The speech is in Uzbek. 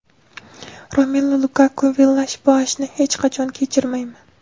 Romelu Lukaku: Villash-Boashni hech qachon kechirmayman.